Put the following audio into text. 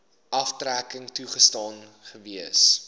aftrekking toegestaan gewees